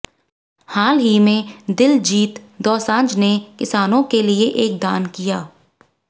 हाल ही में दिलजीत दोसांझ ने किसानों के लिए एक दान किया